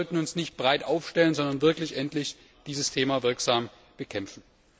Wir sollten uns nicht breit aufstellen, sondern wirklich endlich dieses Thema wirksam bekämpfen.